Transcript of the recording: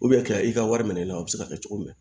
ka i ka wari minɛ i la o bɛ se ka kɛ cogo min